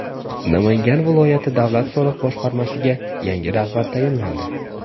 Namangan viloyati davlat soliq boshqarmasiga yangi rahbar tayinlandi.